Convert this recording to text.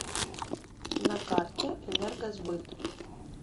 на карте энергосбыт